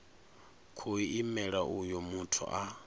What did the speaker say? khou imela uyo muthu a